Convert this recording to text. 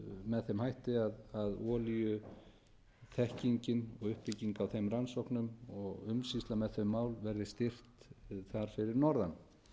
með þeim hætti að að olíuþekkingin og uppbygging á þeim rannsóknum og umsýsla með þau mál verði styrkt þar fyrir norðan